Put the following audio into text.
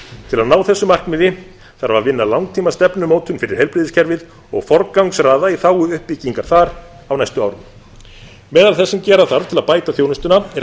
til að ná þeim markmiðum þarf að vinna langtímastefnumótun fyrir heilbrigðiskerfið og forgangsraða í þágu uppbyggingar þar á næstu árum meðal þess sem gera þarf til að bæta þjónustuna er að